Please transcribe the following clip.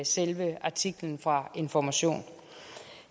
selve artiklen fra information